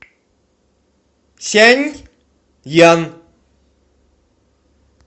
сяньян